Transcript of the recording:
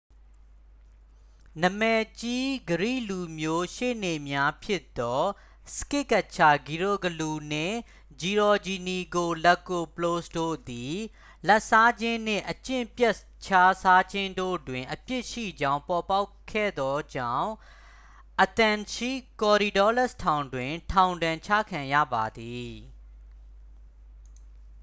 နာမည်ကြီး ဂရိလူမျိုးရှေ့နေများဖြစ်သော စကစ်ကက်ချာဂီရိုဂလူး နှင့် ဂျီရောဂျီနီကိုလက်ကိုပလို့စ် တို့သည် လာဘ်စားခြင်းနှင့် အကျင့်ပျက်ခြစားခြင်းတို့တွင် အပြစ်ရှိကြောင်းပေါ်ပေါက်ခဲ့သောကြောင့် athens ရှိ korydallus ထောင်တွင် ထောင်ဒဏ်ကျခံရပါသည်